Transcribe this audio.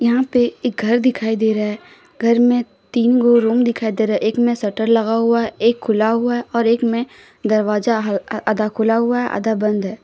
यहां पे एक घर दिखाई दे रहा है घर में तीन गो रूम दिखाई दे रहा है एक में शटर लगा हुआ है एक खुला हुआ है और एक में दरवाजा हल आधा खुला हुआ है आधा बंद है।